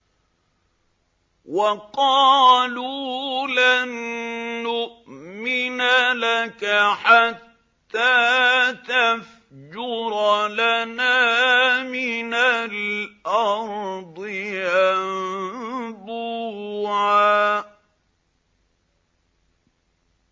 وَقَالُوا لَن نُّؤْمِنَ لَكَ حَتَّىٰ تَفْجُرَ لَنَا مِنَ الْأَرْضِ يَنبُوعًا